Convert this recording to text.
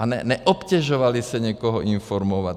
A neobtěžovali se někoho informovat.